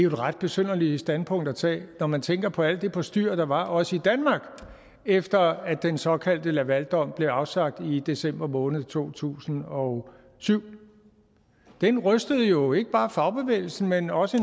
ret besynderligt standpunkt at tage når man tænker på alt det postyr der var også i danmark efter at den såkaldte lavaldom blev afsagt i december måned to tusind og syv den rystede jo ikke bare fagbevægelsen men også